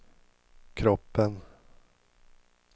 kroppen